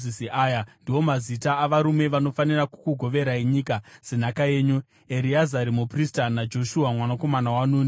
“Aya ndiwo mazita avarume vanofanira kukugoverai nyika senhaka yenyu: Ereazari muprista naJoshua mwanakomana waNuni.